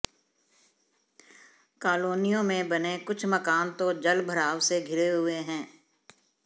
कॉलोनियों में बने कुछ मकान तो जलभराव से घिरे हुए हैं